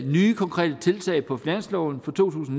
nye konkrete tiltag på finansloven for to tusind